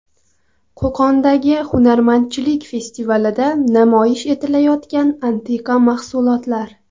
Qo‘qondagi hunarmandchilik festivalida namoyish etilayotgan antiqa mahsulotlar.